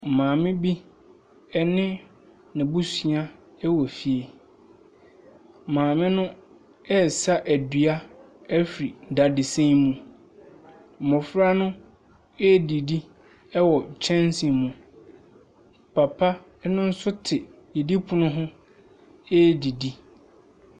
Maame bi ne n’abusua wɔ fie, maame no ɛresa adua afi kyɛnse mu, mmɔfra no ɛredidi wɔ kyɛnse mu, papa no nso te adidipono ho ɛredidi.